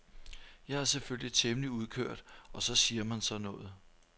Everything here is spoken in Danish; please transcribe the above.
Jeg er selvfølgelig temmelig udkørt og så siger man sådan noget.